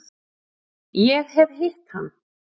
Ég hef hitt hann.